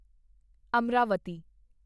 Amaravati